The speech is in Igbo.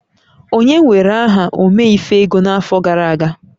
Onye were aha Ome-ife-ego n'afọ gara aga?